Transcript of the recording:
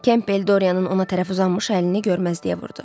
Kempel Doreyanın ona tərəf uzanmış əlini görməzliyə vurdu.